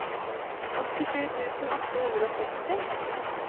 åttisju tusen åtte hundre og seksti